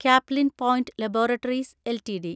Caplin Point laboratories LTD